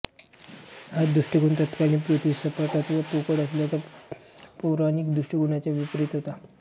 हा दृष्टिकोन तत्कालीन पृथ्वी सपाट अथवा पोकळ असल्याच्या पौराणिक दृष्टिकोनाच्या विपरीत होता